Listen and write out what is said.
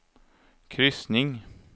kryssning